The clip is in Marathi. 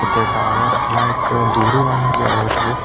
त्या टॉवेरला एक डोरी बांधलेली आहे वरती.